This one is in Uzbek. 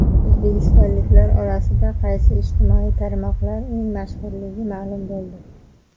O‘zbekistonliklar orasida qaysi ijtimoiy tarmoqlar eng mashhurligi ma’lum bo‘ldi.